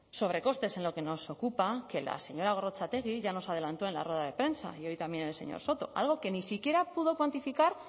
sobrecostes en lo que nos ocupa que la señora gorrotxategi ya nos adelantó en la rueda de prensa y hoy también el señor soto algo que ni siquiera pudo cuantificar